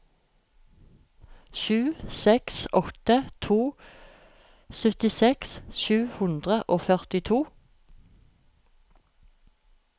sju seks åtte to syttiseks sju hundre og førtito